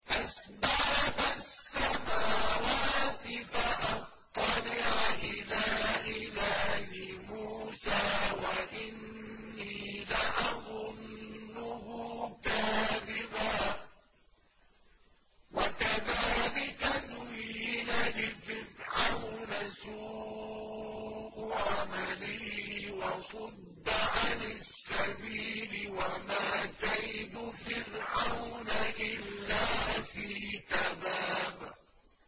أَسْبَابَ السَّمَاوَاتِ فَأَطَّلِعَ إِلَىٰ إِلَٰهِ مُوسَىٰ وَإِنِّي لَأَظُنُّهُ كَاذِبًا ۚ وَكَذَٰلِكَ زُيِّنَ لِفِرْعَوْنَ سُوءُ عَمَلِهِ وَصُدَّ عَنِ السَّبِيلِ ۚ وَمَا كَيْدُ فِرْعَوْنَ إِلَّا فِي تَبَابٍ